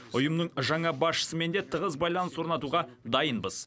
ұйымның жаңа басшысымен де тығыз байланыс орнатуға дайынбыз